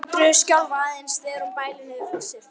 Andreu skjálfa aðeins þegar hún bælir niður flissið.